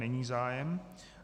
Není zájem.